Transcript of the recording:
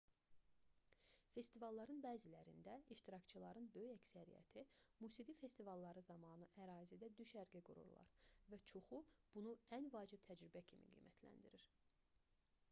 festivalların bəzilərində iştirakçıların böyük əksəriyyəti musiqi festivalları zamanı ərazidə düşərgə qururlar və çoxu bunu ən vacib təcrübə kimi qiymətləndirir